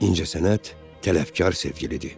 İncəsənət tələbkar sevgilidir.